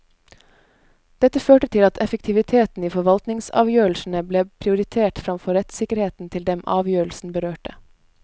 Dette førte til at effektiviteten i forvaltningsavgjørelsene ble prioritert framfor rettssikkerheten til dem avgjørelsen berørte.